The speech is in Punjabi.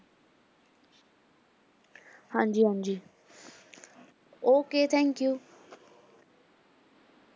ਹਾਂਜੀ ਹਾਂਜੀ okay thank you